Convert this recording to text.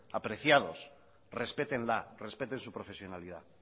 apreciados respétenla respeten su profesionalidad